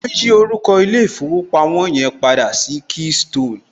Wọn yí orúkọ ilé ìfowópamọ́ yẹn padà sí keystone